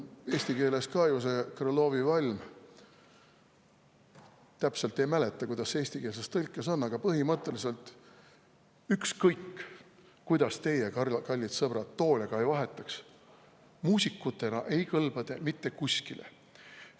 Eesti keeles on ju ka see Krõlovi valm, täpselt ei mäleta, kuidas see eestikeelses tõlkes on, aga põhimõtteliselt: ükskõik, kuidas teie, kallid sõbrad, toole ka ei vahetaks, muusikutena ei kõlba te mitte kuskile.